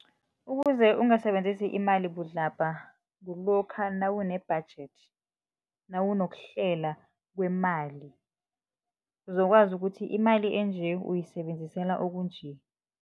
Ukuze ungasebenzisi imali budlabha kulokha nawune-budget, nawunokuhlela kwemali, kuzokwazi ukuthi imali enje, uyisebenzisela okunje.